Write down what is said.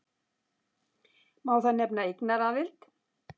Má þar nefna eignaraðild.